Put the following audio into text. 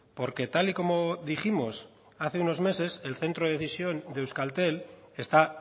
porque tal y como dijimos hace unos meses el centro de decisión de euskaltel está